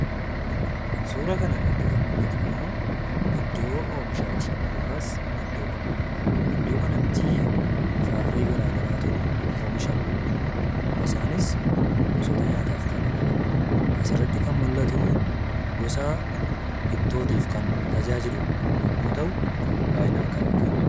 Suuraa kanarratti kan mul'atu immoo iddoo oomishaati. yookas iddoo qonna. iddoo kanatti firaa, firee garaagaraatu oomishama. isaaniis gosoota nyaaataf kan oolanidha. asirratti kan mul'atu gosa ittootiif kan tajaajilu yemmu ta'u, baay'inaan kan argamudha.